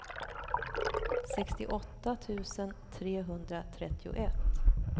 sextioåtta tusen trehundratrettioett